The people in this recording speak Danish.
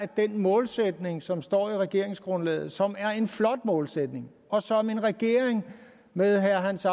den målsætning som står i regeringsgrundlaget som er en flot målsætning og som en regering med herre hans